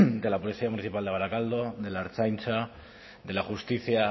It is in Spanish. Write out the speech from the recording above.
de la policía municipal de barakaldo de la ertzaintza de la justicia